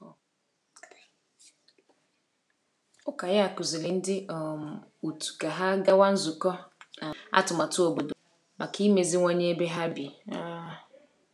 Ụka ya kụziri ndị um otu ka ha gawa nzukọ um atụmatụ obodo maka imeziwanye ebe ha bi. um